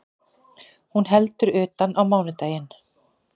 Hún heldur utan á mánudaginn